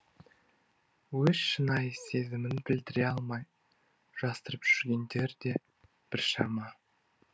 өз шынайы сезімін білдіре алмай жасырып жүргендер де біршама